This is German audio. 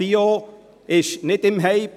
Bio ist kein Hype.